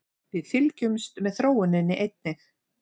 Við fylgjumst með þróuninni einnig